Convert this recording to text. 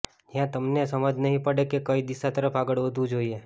જ્યાં તમને સમજ નહીં પડે કે કઈ દિશા તરફ આગળ વધવું જોઈએ